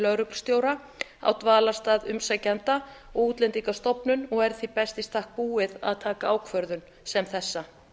lögreglustjóra á dvalarstað umsækjanda og útlendingastofnun og er því best í stakk búið að taka ákvörðun sem þessa